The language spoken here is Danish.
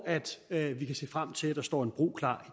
at vi kan se frem til at der står en bro klar